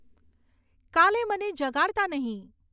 કાલે મને જગાડતા નહીં